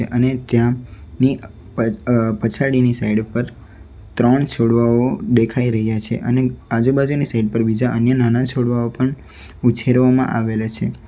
અને ત્યાંની અહ પછાડીની સાઇડ ઉપર ત્રણ છોડવાઓ દેખાઈ રહ્યા છે અને આજુબાજુની સાઈડ પર બીજા અન્ય નાના છોડવાઓ પણ ઉછેરવામાં આવેલ છે.